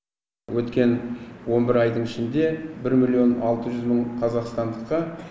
өткен он бір айдың ішінде бір миллион алты жүз мың қазақстандыққа